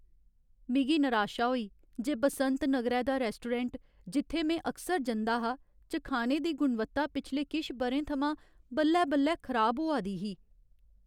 मिगी निराशा होई जे बसंत नगरै दा रैस्टोरैंट जित्थै में अकसर जंदा हा, च खाने दी गुणवत्ता पिछले किश ब'रें थमां बल्लै बल्लै खराब होआ दी ही।